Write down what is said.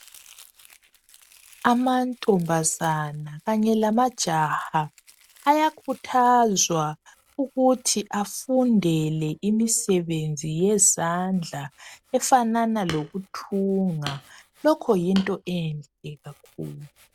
Amantombazana kanye lamajaha bayakhuthazwa ukuthi afundele imisebenzi yezandla efanana lokuthunga lokho yinto enhle kakhulu.